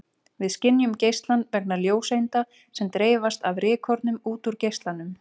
Við skynjum geislann vegna ljóseinda sem dreifast af rykkornum út úr geislanum.